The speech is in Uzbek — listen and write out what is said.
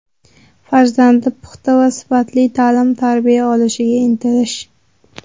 Farzandi puxta va sifatli ta’lim-tarbiya olishiga intilish.